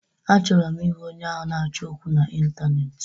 Achọrọ m ịhụ onye ahụ na-achọ okwu na Ịntaneetị!